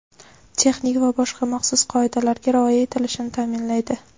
texnik va boshqa maxsus qoidalarga rioya etilishini taʼminlaydi.